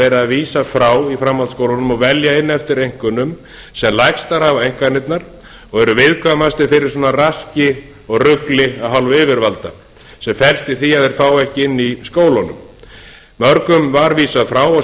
verið er að vísa frá í framhaldsskólunum og velja inn eftir einkunnum sem lægstar hafa einkunnirnar og eru viðkvæmastir fyrir svona raski og rugli af hálfu yfirvalda sem felst í því að þeir fá ekki inni í skólunum mörgum var vísað frá og